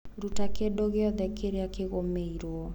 Ruta kĩndu giothe kĩrĩa kĩgomerwo.